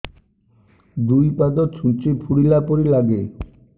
ଦୁଇ ପାଦ ଛୁଞ୍ଚି ଫୁଡିଲା ପରି ଲାଗେ